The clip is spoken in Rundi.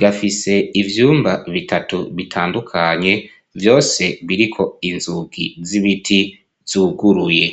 gafise ivyumba bitatu bitandukanye, vyose biriko inzugi z'ibiti zuguruye.